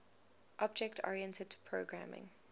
object oriented programming